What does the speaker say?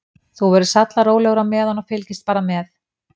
Þú verður sallarólegur á meðan og fylgist bara með.